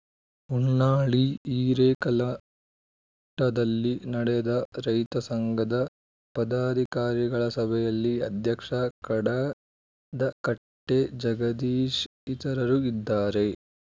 ಹೊನ್ನಾಳಿ ಹಿರೇಕಲ್ಮಠದಲ್ಲಿ ನಡೆದ ರೈತ ಸಂಘದ ಪದಾಧಿಕಾರಿಗಳ ಸಭೆಯಲ್ಲಿ ಅಧ್ಯಕ್ಷ ಕಡದಕಟ್ಟೆಜಗದೀಶ್‌ ಇತರರು ಇದ್ದಾರೆ